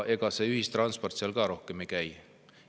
Ega seal ühistransport ka rohkem käima ei.